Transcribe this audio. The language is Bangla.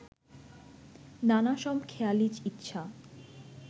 নানা সব খেয়ালি ইচ্ছা